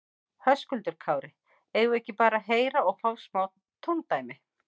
Höskuldur Kári: Eigum við ekki bara að heyra og fá smá tóndæmi?